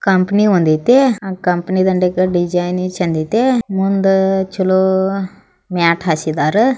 Company ಒಂದ್ ಅಯ್ತೆ. ಆ ಕಂಪನಿ ಇಂಟೀರಿಯರ್ ಡಿಸೈನ್ ಚೆಂದಯ್ತೆ. ಮುಂದ ಚಾಲೂ ಮಾಟ್ ಹಾಸಿದ್ದಾರೆ.